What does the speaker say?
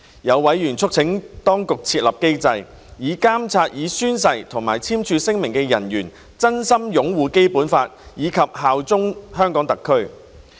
有委員促請當局設立機制，以監察已宣誓或簽署聲明的人員真心擁護《基本法》及效忠香港特區。